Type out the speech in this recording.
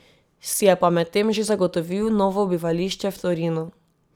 Si je pa medtem že zagotovil novo bivališče v Torinu.